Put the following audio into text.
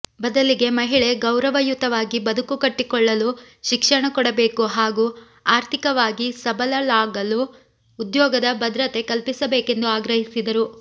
ಬದಲಿಗೆ ಮಹಿಳೆ ಗೌರವಯುತವಾಗಿ ಬದುಕು ಕಟ್ಟಿಕೊಳ್ಳಲು ಶಿಕ್ಷಣ ಕೊಡಬೇಕು ಹಾಗೂ ಆರ್ಥಿಕವಾಗಿ ಸಬಲಳಾಗಲು ಉದ್ಯೋಗದ ಭದ್ರತೆ ಕಲ್ಪಿಸಬೇಕೆಂದು ಆಗ್ರಹಿಸಿದರು